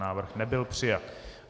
Návrh nebyl přijat.